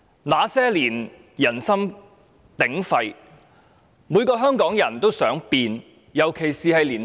那些年，人心鼎沸，每個香港人——特別是青年人——都想改變。